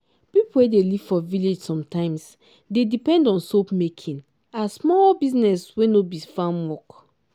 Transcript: pipo wey dey live for village sometimes dey depend on soap-making as small business wey no be farm work.